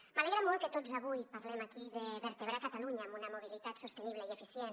m’alegra molt que tots avui parlem aquí de vertebrar catalunya amb una mobilitat sostenible i eficient